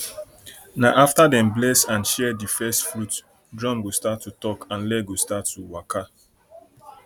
na after dem bless and share di first fruits drum go start to talk and leg go start to waka